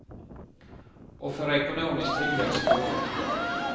Och för ekonomisk tillväxt och jobb.